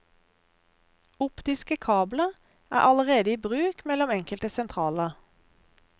Optiske kabler er allerede i bruk mellom enkelte sentraler.